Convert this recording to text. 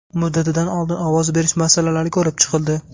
Muddatidan oldin ovoz berish masalalari ko‘rib chiqildi.